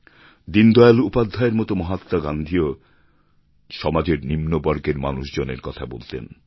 দীনদয়াল উপাধ্যায়ের মতো মহাত্মা গান্ধীও সমাজের নিম্নবর্গের মানুষজনের কথা বলতেন